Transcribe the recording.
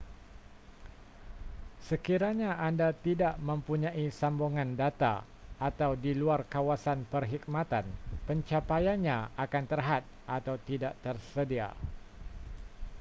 sekiranya anda tidak mempunyai sambungan data atau di luar kawasan perkhidmatan pencapaiannya akan terhad atau tidak tersedia